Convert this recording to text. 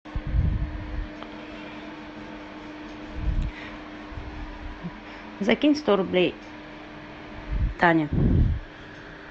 закинь сто рублей тане